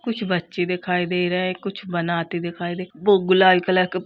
कुछ बच्चे दिखाई दे रहे हैं। कुछ बनाते दिखाई दे। वो गुलाल कलर के --